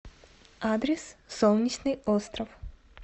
адрес солнечный остров